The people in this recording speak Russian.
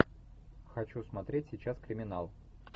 хочу смотреть сейчас криминал